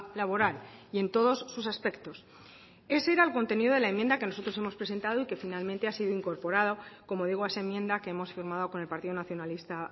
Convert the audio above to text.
laboral y en todos sus aspectos ese era el contenido de la enmienda que nosotros hemos presentado y que finalmente ha sido incorporado como digo a esa enmienda que hemos firmado con el partido nacionalista